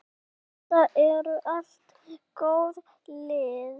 Þetta eru allt góð lið.